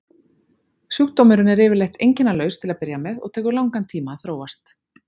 Sjúkdómurinn er yfirleitt einkennalaus til að byrja með og tekur langan tíma að þróast.